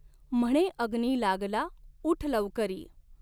म्हणे अग्नि लागला ऊठ लवकरी।